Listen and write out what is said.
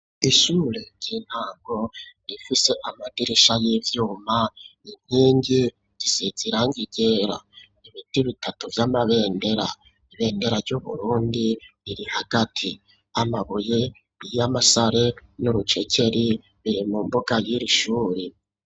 Ishure ry'intango rifise amadirisha y'ivyuma ,inkingi zisizirangi ryera, ibiti bitatu vy'amabendera, ibendera ry'Uburundi riri hagati, amabuye y'amasare n'urucekeri biri mu mbuga y'irishuri.